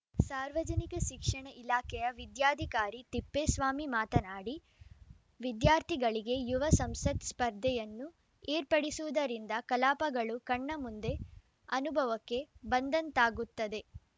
ಸಾರ್ವಜನಿಕ ಶಿಕ್ಷಣ ಇಲಾಖೆಯ ವಿದ್ಯಾಧಿಕಾರಿ ತಿಪ್ಪೇಸ್ವಾಮಿ ಮಾತನಾಡಿ ವಿದ್ಯಾರ್ಥಿಗಳಿಗೆ ಯುವ ಸಂಸತ್‌ ಸ್ಪರ್ಧೆಯನ್ನು ಏರ್ಪಡಿಸುವುದರಿಂದ ಕಲಾಪಗಳು ಕಣ್ಣ ಮುಂದೆ ಅನುಭವಕ್ಕೆ ಬಂದಂತಾಗುತ್ತದೆ